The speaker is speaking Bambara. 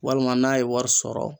Walima n'a ye wari sɔrɔ